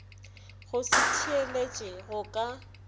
go se theeletše go ka